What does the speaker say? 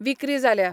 विक्री जाल्या.